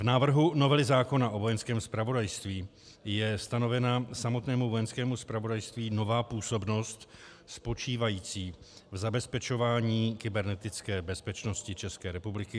V návrhu novely zákona o Vojenském zpravodajství je stanovena samotnému Vojenskému zpravodajství nová působnost spočívající v zabezpečování kybernetické bezpečnosti České republiky.